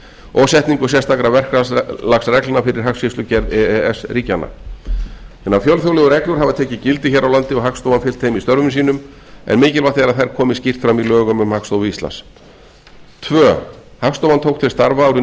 og setningu sérstakra verklagsreglna fyrir hagskýrslugerð e e s ríkjanna hinar fjölþjóðlegu reglur hafa tekið gildi hér á landi og hagstofan fylgt þeim í störfum sínum en mikilvægt er að þær komi skýrt fram í lögum um hagstofu íslands annars hagstofan tók til starfa árið